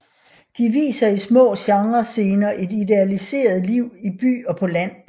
De viser i små genrescener et idealiseret liv i by og på land